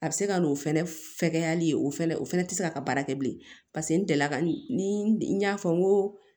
A bɛ se ka n'o fɛnɛ fɛgɛyali ye o fana o fɛnɛ tɛ se ka baara kɛ bilen paseke n delila ka ni n y'a fɔ n ko